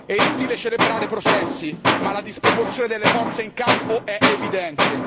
È inutile celebrare processi, ma la disproporzione delle forze in campo è evidente.